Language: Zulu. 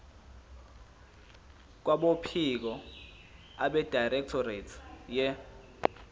kwabophiko abedirectorate ye